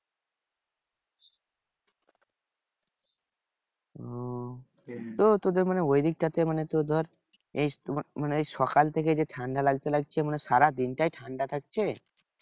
ওহ তোদের মানে ঐদিক টা তে মানে তোর ধর এই তোমার মানে এই সকাল থেকে যে ঠান্ডা লাগছে লাগছে মানে সারা দিনটাই ঠান্ডা থাকছে?